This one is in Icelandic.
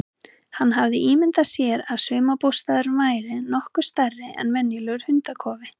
Hann hafði ímyndað sér að sumarbústaðurinn væri nokkuð stærri en venjulegur hundakofi.